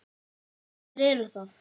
En hverjir eru það?